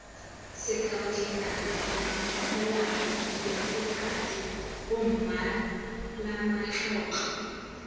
sekao dingaka boramolao diafokate bommalamatlotlo